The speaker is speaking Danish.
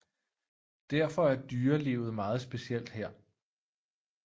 Derfor er dyrelivet meget specielt her